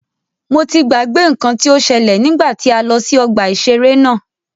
Mo ti gbàgbé nnkan tí o ṣẹ́lẹ̀ nígbà tí a lọ sí ọgbà ìṣẹ̀rẹ́ náà.